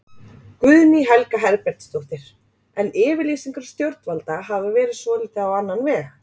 Guðný Helga Herbertsdóttir: En yfirlýsingar stjórnvalda hafa verið svolítið á annan veg?